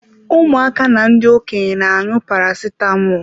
Ụmụaka na ndị Okenye na-aṅụ Paracetamọl.